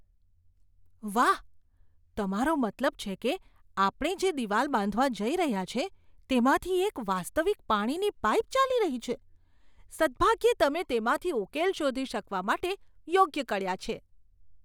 વાહ, તમારો મતલબ છે કે આપણે જે દિવાલ બાંધવા જઈ રહ્યા છીએ તેમાંથી એક વાસ્તવિક પાણીની પાઇપ ચાલી રહી છે? સદ્ભાગ્યે, તમે તેમાંથી ઉકેલ શોધી શકવા માટે યોગ્ય કડિયા છે.